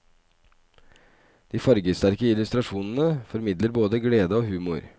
De fargesterke illustrasjonene formidler både glede og humor.